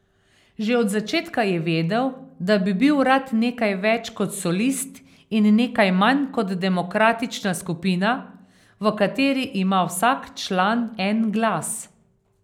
Že od začetka je vedel, da bi bil rad nekaj več kot solist in nekaj manj kot demokratična skupina, v kateri ima vsak član en glas.